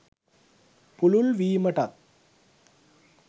පුළුල් වීමටත්